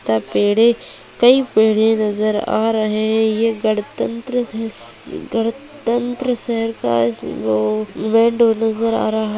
तथा पेड़ें कई पेड़ें नजर आ रहें ये गणतंत्र है स गणतंत्र शहर का वो नजर आ रहा है।